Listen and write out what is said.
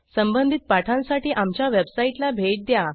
संबंधित पाठांसाठी आमच्या वेबसाईटला भेट द्या